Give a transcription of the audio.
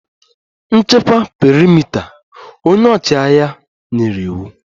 Nchekwa perimeta! Onye ọchịagha nyere iwu